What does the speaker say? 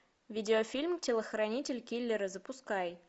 видеофильм телохранитель киллера запускай